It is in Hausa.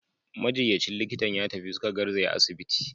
Majinyacin likitan ya tafi, suka garzaya asibiti.